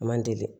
A man deli